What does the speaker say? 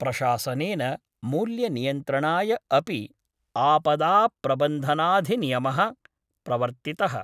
प्रशासनेन मूल्यनियन्त्रणाय अपि आपदाप्रबन्धनाधिनियमः प्रवर्तितः।